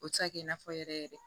O tɛ se ka kɛ i n'a fɔ yɛrɛ yɛrɛ